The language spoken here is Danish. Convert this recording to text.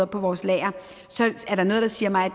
på vores lager er der noget der siger mig at